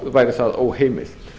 væri það óheimilt